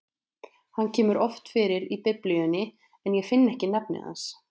Hann kemur oft fyrir í Biblíunni, en ég finn ekki nafnið hans.